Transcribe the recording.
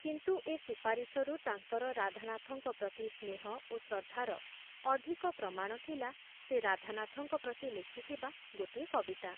କିନ୍ତୁ ଏ ସୁପାରିଶରୁ ତାଙ୍କର ରାଧାନାଥଙ୍କ ପ୍ରତି ସ୍ନେହ ଓ ଶ୍ରଦ୍ଧାର ଅଧିକ ପ୍ରମାଣ ଥିଲା ସେ ରାଧାନାଥଙ୍କ ପ୍ରତି ଲେଖିଥିବା ଗୋଟିଏ କବିତା ।